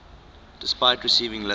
despite receiving little